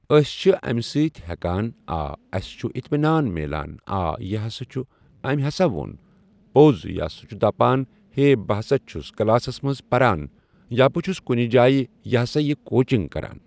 أسۍ چھِ امہِ سۭتۍ ہٮ۪کان آ اسہِ چھُ اطمنان مِلان آ یہِ ہسا چھُ أمۍ ہسا وون پوٚز یا سُہ چھُ دپان ہے بہٕ ہسا چھُس کلاسس منٛز پران یا بہٕ چھُس کُنہِ جایہِ یہِ ہسا یہِ کوچنٛگ کران۔